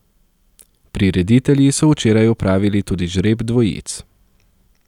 Prireditelji so včeraj opravili tudi žreb dvojic.